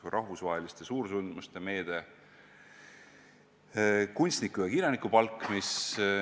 Rahvusvaheliste suursündmuste meede, kunstniku- ja kirjanikupalk.